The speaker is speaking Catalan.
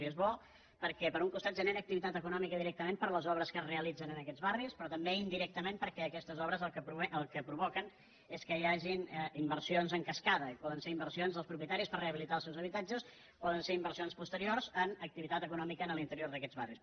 i és bo perquè per un costat genera activitat econòmica directament per les obres que es realitzen en aquests barris però també indirec·tament perquè aquestes obres el que provoquen és que hi hagin inversions en cascada i poden ser inversi·ons dels propietaris per rehabilitar els seus habitatges poden ser inversions posteriors en activitat econòmica a l’interior d’aquests barris